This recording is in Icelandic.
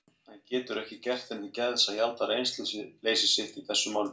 Hann getur ekki gert henni til geðs að játa reynsluleysi sitt í þessum málum.